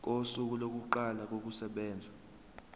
kosuku lokuqala kokusebenza